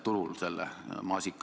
Palun!